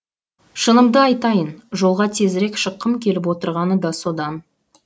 шынымды айтайын жолға тезірек шыққым келіп отырғаны да содан